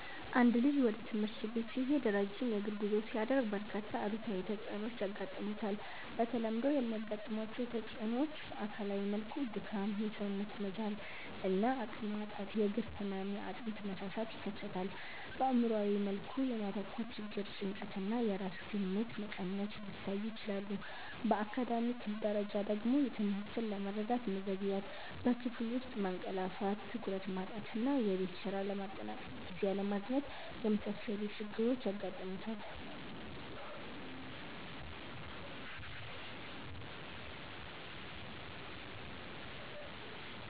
አንድ ልጅ ወደ ትምህርት ቤት ሲሄድ ረጅም የእግር ጉዞ ሲያደርግ፣ በርካታ አሉታዊ ተጽዕኖዎች ያጋጥሙታል። በተለምዶ የሚያጋጥሟቸው ተጽዕኖዎች በአካላዊ መልኩ ድካም፣ የሰውነት መዛል እና አቅም ማጣት፣ የእግር ህመም፣ የአጥንት መሳሳት ይከሰታል። በአእምሯዊ መልኩ የማተኮር ችግር፣ ጭንቀት እና የራስ ግምት መቀነስ ሊታዩ ይችላሉ። በአካዳሚክ ደረጃ ደግሞ ትምህርትን ለመረዳት መዘግየት፣ በክፍል ውስጥ ማንቀላፋት፣ ትኩረት ማጣት እና የቤት ስራ ለማጠናቀቅ ጊዜ አለማግኘት የመሳሰሉ ችግሮች ያጋጥሙታል።